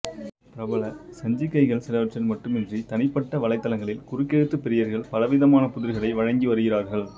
பிரபல சஞ்சிகைகள் சிலவற்றில் மட்டுமின்றி தனிப்பட்ட வலைதளங்களில் குறுக்கெழுத்துப் பிரியர்கள் பலவிதமான புதிர்களை வழங்கி வருகிறார்கள்